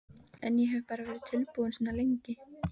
En ég hef bara verið tilbúinn svo lengi.